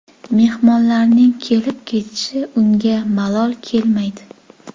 Mehmonlarning kelib-ketishi unga malol kelmaydi.